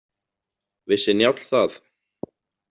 Vissi Njáll það?